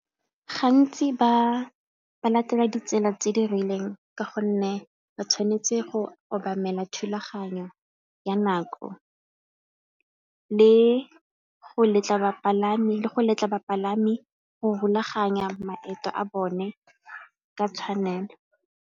Gantsi ba latela ditsela tse di rileng ka gonne ba tshwanetse go obamela thulaganyo ya nako le go letla bapalami go rulaganya maeto a bone ka tshwanelo.